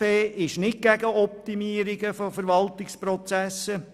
Die SP ist nicht gegen die Optimierung von Verwaltungsprozessen.